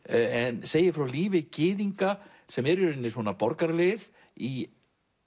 en segir frá lífi gyðinga sem eru í rauninni borgaralegir í